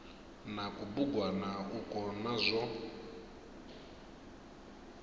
na kubugwana ukwo na zwo